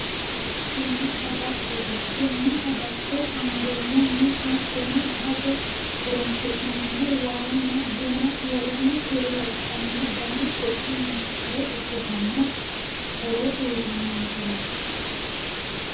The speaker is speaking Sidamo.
Tini agattote tenne agatto angeemmohuno hattono agate horonsi'neemmohu waanna buna woleno kuri labbanno dani su'mi noonsare ikkitanna horo uuyitannonkereeti.